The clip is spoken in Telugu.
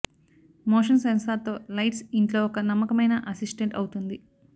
మోషన్ సెన్సార్ తో లైట్స్ ఇంట్లో ఒక నమ్మకమైన అసిస్టెంట్ అవుతుంది